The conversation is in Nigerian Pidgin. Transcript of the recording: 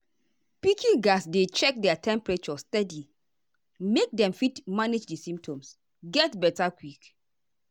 pikin gatz dey check their temperature steady make dem fit manage di symptoms get beta quick.